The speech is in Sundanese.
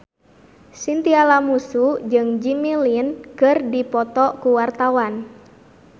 Chintya Lamusu jeung Jimmy Lin keur dipoto ku wartawan